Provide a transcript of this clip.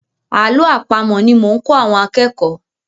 Àlọ́ àpamọ̀ ni mo ń kọ́ àwọn akẹ́kọ̀ọ́.